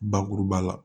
Bakuruba la